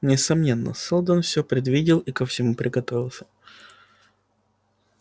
несомненно сэлдон всё предвидел и ко всему приготовился